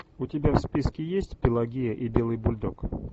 у тебя в списке есть пелагея и белый бульдог